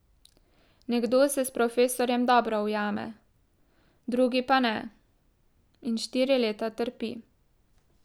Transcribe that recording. Nekdo se s profesorjem dobro ujame, drugi pa ne in štiri leta trpi.